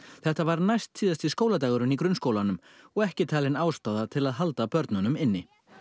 þetta var næstsíðasti skóladagurinn í grunnskólanum og ekki talin ástæða til halda börnum inni